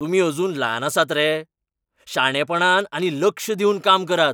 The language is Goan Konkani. तुमी अजून ल्हान आसात रे? शाणेपणान आनी चड लक्ष दिवन काम करात.